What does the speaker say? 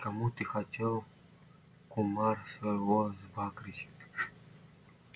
кому ты хотел кумар свой сбагрить